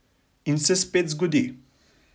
In se spet zgodi.